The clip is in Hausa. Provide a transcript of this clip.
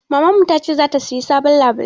Mamarmu ta ce za ta sayi sabon labulai.